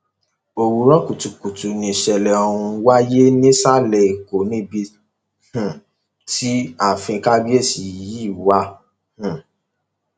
òwúrọ kùtùkùtù yìí nìṣẹlẹ ọhún wáyé nìsàlẹ èkó níbi um tí ààfin kábíyèsí yìí wà um